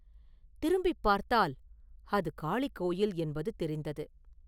திரும்பிப் பார்த்தால், அது காளி கோயில் என்பது தெரிந்தது.